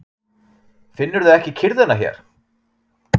Finnurðu ekki kyrrðina hér?